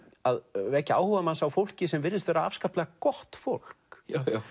að vekja áhuga manns á fólki sem virðist vera afskaplega gott fólk